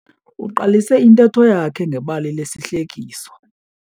Uqalise intetho yakhe ngebali lesihlekiso.